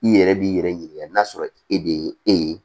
I yɛrɛ b'i yɛrɛ ɲininka n'a sɔrɔ e de ye e ye